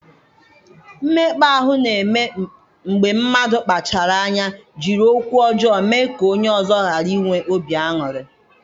Mmekpa ahụ na-eme mgbe mmadụ kpachara anya jiri okwu ọjọọ mee ka onye ọzọ ghara inwe obi aṅụrị.